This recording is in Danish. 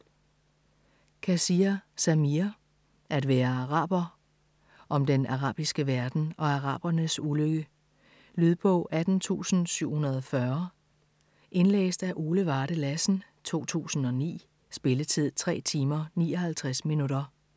Kassir, Samir: At være araber Om den arabiske verden og arabernes ulykke. Lydbog 18740 Indlæst af Ole Varde Lassen, 2009. Spilletid: 3 timer, 59 minutter.